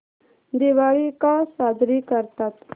दिवाळी का साजरी करतात